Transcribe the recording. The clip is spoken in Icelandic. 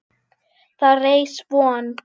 Þá reis von